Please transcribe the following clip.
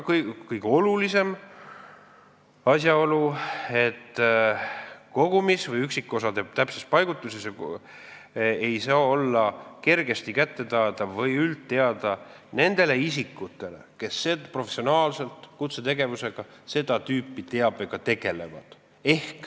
Kolmandaks, kõige olulisem asjaolu: see teave oma kogumis või üksikosade täpses paigutuses ei saa olla kergesti kättesaadav või üldteada nendele isikutele, kes oma professionaalses kutsetegevuses seda tüüpi teabega tegelevad.